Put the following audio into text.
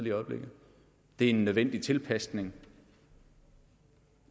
i øjeblikket det er en nødvendig tilpasning